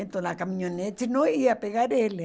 Então, a caminhonete não ia pegar ele.